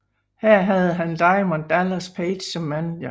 Her havde han Diamond Dallas Page som manager